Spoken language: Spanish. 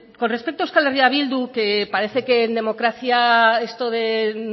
con respecto a euskal herria bildu que parece que en democracia esto de no